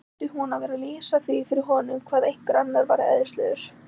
Þurfti hún að vera að lýsa því fyrir honum hvað einhver annar væri æðislegur?